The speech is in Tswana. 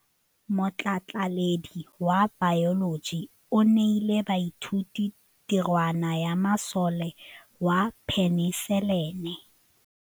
Motlhatlhaledi wa baeloji o neela baithuti tirwana ya mosola wa peniselene.